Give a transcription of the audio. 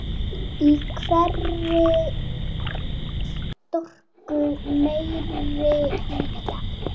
Í hverri stroku meiri hlýja.